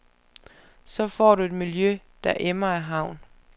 Så får du et miljø, der emmer af havn.